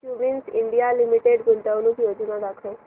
Cummins India limited गुंतवणूक योजना दाखव